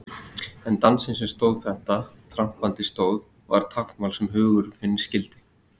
En dansinn sem tróð þetta trampandi stóð var táknmál sem hugur minn skildi.